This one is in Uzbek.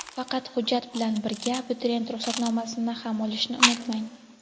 Faqat hujjat bilan birga abituriyent ruxsatnomasini ham olishni unutmang.